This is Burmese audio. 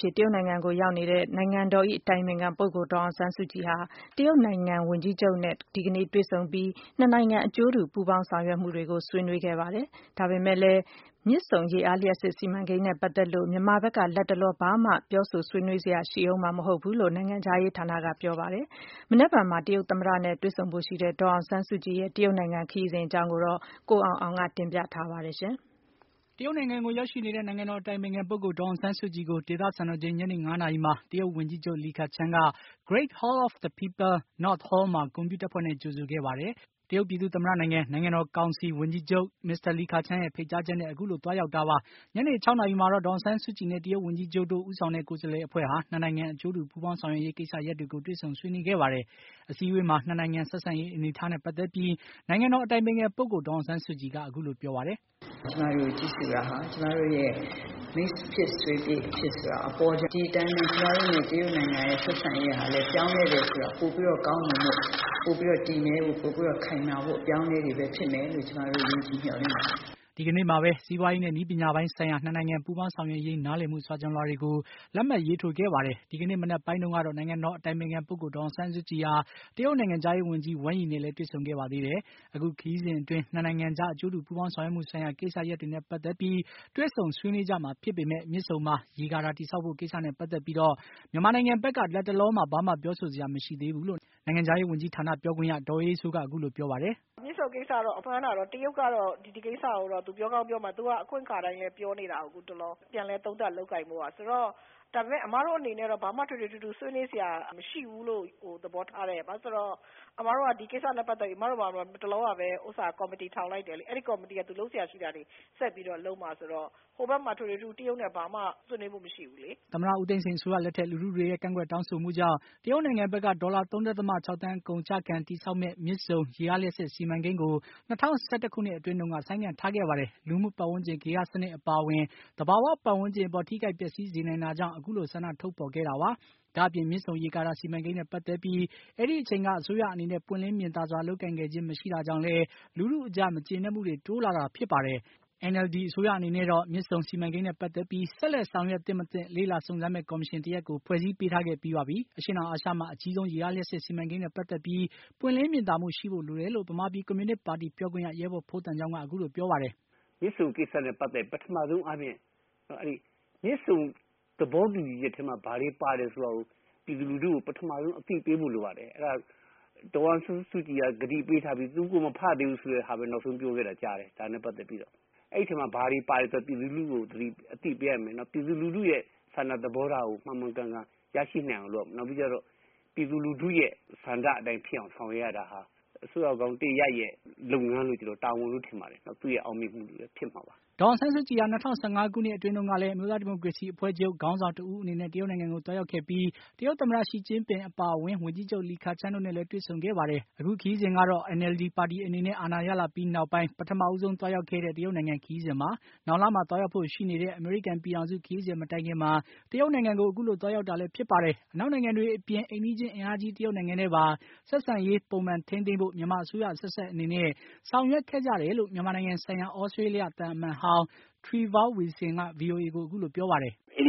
ဖြစ် တရုတ်နိုင်ငံကိုရောက်ရှိနေတဲ့ နိုင်ငံတော် အတိုင်ပင်ခံပုဂ္ဂိုလ် ဒေါ်အောင်ဆန်းစုကြည်ဟာ တရုတ်နိုင်ငံဝန်ကြီးချုပ်နဲ့ ဒီကနေ့တွေ့ဆုံပြီး ၂ နိုင်ငံ အကျိုးတူပူးပေါင်းဆောင်ရွက်မှုတွေကို ဆွေးနွေးခဲ့ပါတယ်။ ဒါပေမယ့်လည်း မြစ်ဆုံရေအားလျှပ်စစ်စီမံကိန်းနဲ့ ပတ်သက်ပြီးတော့ မြန်မာဘက်က လတ်တလော ဘာမှ ပြောဆိုဆွေးနွေးစရာရှိဦးမှာ မဟုတ်ဘူးလို့ နိုင်ငံခြားရေးဌာနက ပြောပါတယ်။ မနက်ဖြန်မှာ တရုတ်သမ္မတနဲ့ တွေ့ဆုံဖို့ရှိတဲ့ ဒေါ်အောင်ဆန်းစုကြည်ခရီးစဉ်အကြောင်း ကိုအောင်အောင်က တင်ပြထားပါတယ်။ တရုတ်နိုင်ငံကိုရောက်ရှိနေတဲ့ နိုင်ငံတော်အတိုင်ပင်ခံပုဂ္ဂိုလ် ဒေါ်အောင်ဆန်းစုကြည်ကို ဒေသစံတော်ချိန် ညနေ ၅ နာရီမှာ တရုတ်ဝန်ကြီးချုပ် လီခချန်းက Great Hall of the People, North Hall မှာ ဂုဏ်ပြုတပ်ဖွဲ့နဲ့ ကြိုဆိုခဲ့ပါတယ်။ တရုတ်ပြည်သူ့သမ္မတနိုင်ငံ နိုင်ငံတော်ကောင်စီ ဝန်ကြီးချုပ် မစ္စတာလီခချန်းရဲ့ ဖိတ်ကြားချက်နဲ့ အခုလိုသွားရောက်တာပါ။ ညနေ ၆ နာရီမှာ ဒေါ်အောင်ဆန်းစုကြည်နဲ့ တရုတ်ဝန်ကြီးချုပ် လီခချန်းတို့ ဦးဆောင်တဲ့ ကိုယ်စားလှယ်အဖွဲ့ဟာ ၂ နိုင်ငံအကျုးိတူပူးပေါင်းဆောင်ရွက်ရေးကိစ္စရပ်တွေကို တွေ့ဆုံဆွေးနွေးခဲ့ပါတယ်။ အစည်းအဝေးမှာ ၂ နိုင်ငံဆက်ဆံရေး အနေအထားနဲ့ ပတ်သက်ပြီး နိုင်ငံတော် အတိုင်ပင်ခံ ပုဂ္ဂိုလ် ဒေါ်အောင်ဆန်းစုကြည်က အခုလို ပြောပါတယ်။ “ကျမတို့ကိုကြိုဆိုတာဟာ ကျမတို့ရဲ့ မိတ်ဖြစ်ဆွေဖြစ်ဆိုတာ ဒီအတိုင်း ကျမတို့နဲ့ တရုတ်နိုင်ငံဆက်ဆံရေး ပြောင်းလဲတယ်ဆိုတာ ပိုပြီးတော့ ကောင်းမွန်တဲ့ ပိုပြီးတော့ တည်မြဲ ၊ပိုပြီးတော့ခိုင်မာဖို့အတွက် အပြောင်းအလဲတွေပဲဖြစ်မယ်လို့ ကျမတို့ ယုံကြည်မျှော်လင့်ပါတယ်။" ဒီကနေ့မှာပဲ စီးပွားရေးနဲ့ နည်းပညာပိုင်းဆိုင်ရာ ၂ နိုင်ငံ ပူးပေါင်းဆောင်ရွက်ရေး နားလည်မှု စာချွန်လွှာတွေကို လက်မှတ် ရေးထိုးခဲ့ပါတယ်။ ဒီကနေ့ မနက်ပိုင်းတုန်းကတော့ နိုင်ငံတော်အတိုင်ပင်ခံ ပုဂ္ဂိုလ် ဒေါ်အောင်ဆန်းစုကြည်ဟာ တရုတ်နိုင်ငံခြားရေးဝန်ကြီး Wang Yi နဲ့ တွေ့ဆုံခဲ့ပါတယ်။ အခုခရီးစဉ်အတွင်း ၂ နိုင်ငံကြား အကြိုးတူပူးပေါင်းဆောင်ရွက်မှုဆိုင်ရာ ကိစ္စရပ်တွေနဲ့ ပတ်သက်ပြီး တွေ့ဆုံဆွေးနွေးကြမှာ ဖြစ်ပေမယ့် မြစ်ဆုံမှာ ရေကာတာတည်ဆောက်ဖို့ကိစ္စနဲ့ ပါတ်သတ်ပြီးတော့ မြန်မာနိုင်ငံဘက်က လတ်တလောမှာ ဘာမှ ပြောဆိုစရာ မရှိသေးဘူးလို့ နိုင်ငံခြားရေးဝန်ကြီးဌာန ပြောခွင့်ရ ဒေါ်အေးအေးစိုးက အခုလိုပြောပါတယ်။ “မြစ်ဆုံကိစ္စမှန်းတာကတော့ တရုတ်ကတော့ ဒီကိစ္စကိုပြောကောင်းပြောမယ်သူက အခွင့်အခါတိုင်းလည်းပြောနေတာကို အခုတလော ပြန်လည်သုံးသပ်လုပ်ကိုင်ဖို့ဆိုတာ။ ဒါပေမယ့် အမတို့အနေနဲ့ကတော့ ဘာမှထွေထွေထူးထူးဆွေးနွေးစရာမရှိဘူးလို့ သဘောထားတယ် ။ ဘာလို့လဲဆိုတော့ အမတို့က ဒီကိစ္စနဲ့ ပတ်သက်ပြီး အမတို့မှာ တလောကပဲ ကော်မတီထောင်လိုက်တိုယ်လေ။ အဲဒီကော်မတီ က သူလုပ်စရာရှိတာတွေ ဆက်ပြီးတော့လုပ်မှာဆိုတာ ဟိုဘက်မှာ ထွေထွေထူးထူးတရုတ်နဲ့ ဘာမှဆွေးနွေးဖို့မရှိဘူးလေ။” သမ္မတ ဦးသိန်းစိန် အစိုးရလက်ထက် လူထုတွေရဲ့ကန့်ကွက်တောင်းဆိုမှုကြောင့် တရုတ်နိုင်ငံဘက်က ဒေါ်လာ ၃.၆ ဘီလျံ အကုန်အကျခံ တည်ဆောက်မယ့် မြစ်ဆုံရေအားလျှပ်စစ်စီမံကိန်းကို ၂၀၁၁ ခုနှစ်အတွင်း ဆိုင်းငံ့ထားခဲ့ပါတယ်။ လူမှု ပတ်ဝန်းကျင် ဂေဟစနစ်အပါအဝင် သဘာ၀ ပတ်ဝန်းကျင် အပေါ်ထိခိုက်ပျက်စီးစေနို်င်တာကြောင့် အခုလို ဆန္ဒ ထုတ်ဖေါ်ခဲ့တာပါ။ ဒါ့အပြင် မြစ်ဆုံရေကာတာ စီမံကိန်းနဲ့ပတ်သက်ပြီး အဲဒီအချိန်က အစိုးရအနေနဲ့ ပွင့်လင်းမြင်သာစွာ လုပ်ကိုင်ခဲ့ခြင်း မရှိတာကြောင့်လည်း လူထုအကြား မကြေနပ်မှုတွေ တိုးလာတာဖြစ်ပါတယ်။ NLD အစိုးရအနေနဲ့တော့ မြစ်ဆုံစီမံကိန်းနဲ့ ပတ်သက်ပြီး ဆက်လက် ဆောင်ရွက် သင့်မသင့် လေ့လာစုံစမ်းမယ့် ကော်မရှင် တရပ်ကို ဖွဲ့စည်းပေးထားခဲ့ပြီးပါပြီ။ အရှေ့တောင်အာရှမှာ အကြီးဆုံး ရေအားလျှပ်စစ်စီမံကိန်းနဲ့ ပတ်သက်ပြီး ပွင့်လင်းမြင်သာမှုရှိဖို့လိုတယ်လို့ ဗမာပြည်ကွန်မြူနစ်ပါတီ ပြောခွင့်ရ ရဲဘော်ဖိုးသံချောင်းက အခုလိုပြောပါတယ်။ “မြစ်ဆုံကိစ္စနဲ့ ပတ်သက်ပြီး ပထမဆုံးအားနည်းတာက မြစ်ဆုံ သဘောတူညီချက်ထဲမှာ ဘာတွေပါတယ်ဆိုတာကို ပြည်သူလူထူကို ပထမဆုံးအသိပေးဖို့လိုပါတယ်။ အဲဒါ ဒေါ်အောင်ဆန်းဆုကြည်ကကတိပေးထားပြီး နောက်ဆုံးသူမဖတ်ရသေးဘူးဆိုတာပဲ နောက်ဆုံးပြောခဲ့တာကြားတယ် ဒါနဲ့ပတ်သက်ပြီးတော။့ အဲဒီစာချုပ်အထဲမှာ ဘာတွေပါတယ်ဆိုတာကို ပြည်သူလူထုကို အသိပေးရမယ်။ နောက်ပြည်သူလူထုရဲ့ ဆန္ဒသဘောထားကို မှန်မှန်ကန်ကန်ရရှိနိုင်အောင် နောက်ပြီးကျတော့ ပြည်သူထူရဲ့ ဆန္ဒနဲ့ ဆောင်ရွက်ရတာဟာ အစိုးရကောင်းတရပ်ရဲ့ လုပ်ငန်း တာဝန်လို့ထင်ပါတယ် နောက်သူ့အောင်မြင်မှုတွေပဲဖြစ်မှာပါ။” ဒေါ်အောင်ဆန်းစုကြည်ဟာ ၂၀၁၅ ခုနှစ်အတွင်းတုန်းကလည်း အမျိုးသားဒီမိုကရေစီအဖွဲ့ချုပ် ခေါင်းဆောင်တဦးအနေနဲ့ တရုတ်နိုင်ငံကို သွားရောက်ခဲ့ပြီး တရုတ်သမ္မတ ရှီကျင်းပင်အပါအဝင် ဝန်ကြီးချုပ် လီခချန်းတို့နဲ့လည်း တွေ့ဆုံခဲ့ပါတယ်။ အခုခရီးစဉ်ကတော့ NLD ပါတီအနေနဲ့ အာဏာရလာပြီးနောက်ပိုင်း ပထမဆုံးသွားရောက်တဲ့ တရုတ်နိုင်ငံခရီးစဉ်ပါ။ နောက်လမှာ သွားရောက်ဖို့ရှိနေတဲ့ အမေရိကန်ပြည်ထောင်စု ခရီးစဉ်မတိုင်ခင်မှာ တရုတ်နိုင်ငံကို အခုလိုသွားရောက်တာလည်း ဖြစ်ပါတယ်။ အနောက်နိုင်ငံတွေနဲ့အပြင် အိမ်နီးချင်း အင်အားကြီး တရုတ်နိုင်ငံနဲ့ပါ ဆက်ဆံရေး ပုံမှန်ထိန်းသိမ်းဖို့ မြန်မာအစိုးရအဆက်ဆက်အနေနဲ့ ဆောင်ရွက်ခဲ့ကြတယ်လို့ မြန်မာနိုင်ငံဆိုင်ရာ သြစတေးလျသံအမတ်ဟောင်း Trevor Wilson က VOA ကို အခုလိုပြောပါတယ်။ “အစ